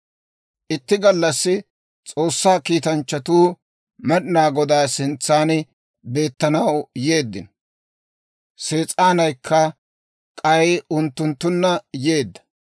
Itti gallassi S'oossaa kiitanchchatuu Med'inaa Godaa sintsan beettanaw yeeddino; Sees'aanaykka k'ay unttunttunna yeedda.